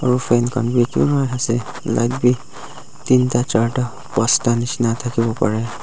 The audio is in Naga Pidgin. aru fan khan bi pura ase light bi teenta charta pansta nishina thakiwo parae.